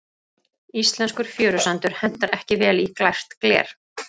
Íslenskur fjörusandur hentar ekki vel í glært gler.